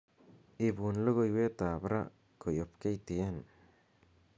ipun logoiwet ab raa koyob ktn